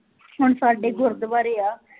ਹੁਣ ਸਾਡੇ ਗੁਰਦੁਆਰੇ ਆ